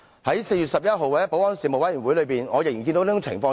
在4月11日的保安事務委員會上，我仍然看到這種情況。